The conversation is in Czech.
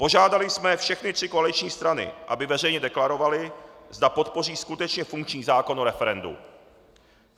Požádali jsme všechny tři koaliční strany, aby veřejně deklarovaly, zda podpoří skutečně funkční zákon o referendu.